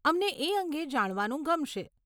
અમને એ અંગે જાણવાનું ગમશે.